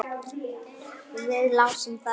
Við lásum þær.